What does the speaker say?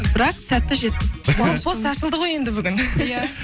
бірақ сәтті жеттім блокпост ашылды ғой енді бүгін иә